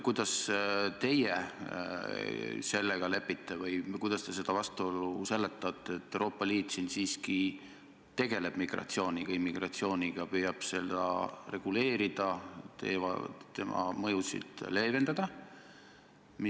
Kuidas teie sellega lepite või kuidas te seda vastuolu seletate, et Euroopa Liit siiski tegeleb migratsiooniga, immigratsiooniga, püüab seda reguleerida, selle mõjusid leevendada?